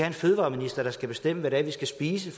en fødevareminister der skal bestemme hvad det er vi skal spise